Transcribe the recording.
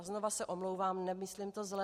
A znovu se omlouvám, nemyslím to zle.